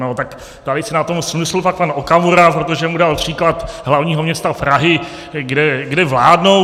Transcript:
No tak tady si na tom smlsl pak pan Okamura, protože mu dal příklad hlavního města Prahy, kde vládnou.